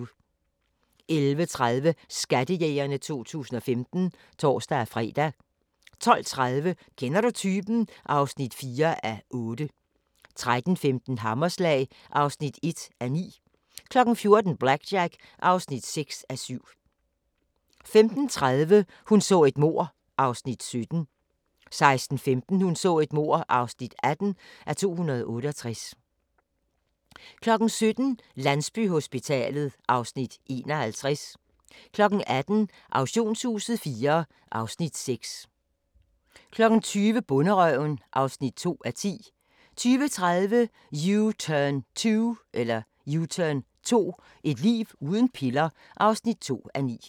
11:30: Skattejægerne 2015 (tor-fre) 12:30: Kender du typen? (4:8) 13:15: Hammerslag (1:9) 14:00: BlackJack (6:7) 15:30: Hun så et mord (17:268) 16:15: Hun så et mord (18:268) 17:00: Landsbyhospitalet (Afs. 51) 18:00: Auktionshuset IV (Afs. 6) 20:00: Bonderøven (2:10) 20:30: U-turn 2 – et liv uden piller (2:9)